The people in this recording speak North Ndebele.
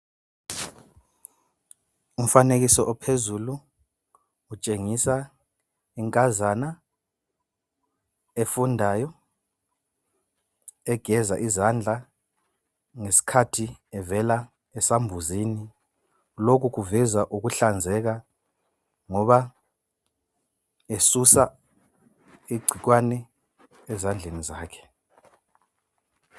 Umfanekiso ophezulu utshengisa inkazana efundayo egeza izandla ngesikhathi ivela esambuzini lokhu kuveza ukuhlanzeka ngoba esusa icikwane ezandleni zakhe.